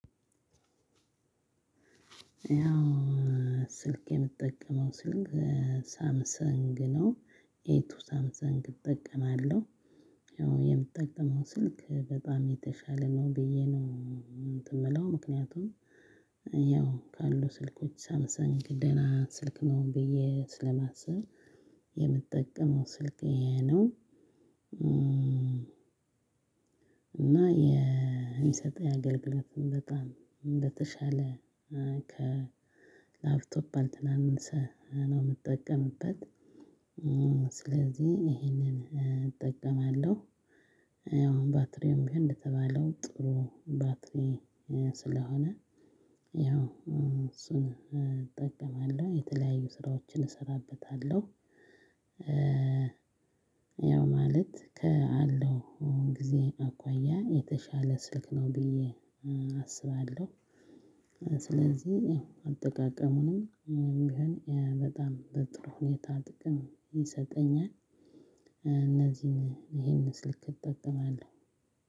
ያው ስልክ የምጠቀመው ስልክ ሳምሰንግ ነው ኤቱ ሳምሰንግ እጠቀማለሁ። ያው የምጠቀመው ስልክ በጣም የተሻለ ነው ብዬ ነው እንትን የምለው ምክንያቱም ያው ካሉ ስልኮች ሳምሰንግ ደህና ስልክ ነው ብዬ ስለማስብ የምጠቀመው ስልክ ይሄ ነው። እና የሚሰጠው የአገልግሎት በጣም እንደተሻለ ከላፍቶፕ ያልተናነሰ ነው የምጠቀምበት ስለዚህ ይሄንን እጠቀማለሁ። ያው ባትሪም ቢሆን እንደተባለው ጥሩ ባትሪ ስለሆነ ያው እሱን እጠቀማለሁ የተለያዩ ስራዎችን እሰራበታለሁ። ያው ማለት ካለው ጊዜ አኳያ የተሻለ ስልክ ነው ብዬ አስባለሁ። ስለዚህ አጠቃቀሙንም ቢሆን በጣም በጥሩ ሁኔታ ጥቅም ይሰጠኛል። ስለዚህ ይሄንን እጠቀማለሁ ያው ባትሪም ቢሆን እንደተባለው ጥሩ ባትሪ